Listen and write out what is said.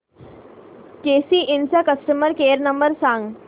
केसी इंड चा customer care number सांग